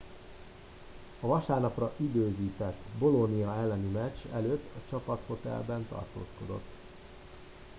a vasárnapra időzített bolonia elleni meccs előtt a csapathotelben tartózkodott